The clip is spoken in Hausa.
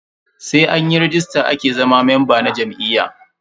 Sai anyi ragista ake zama memba na jam'iyya.